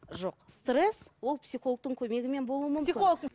жоқ стресс ол психологтың көмегімен болуы мүмкін